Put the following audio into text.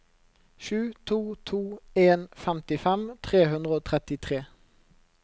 sju to to en femtifem tre hundre og trettitre